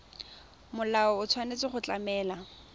molao o tshwanetse go tlamela